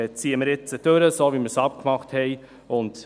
Wir ziehen das jetzt so durch, wie wir es vereinbart haben.